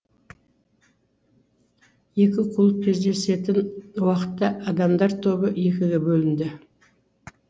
екі клуб кездесетін уақытта адамдар тобы екіге бөлінді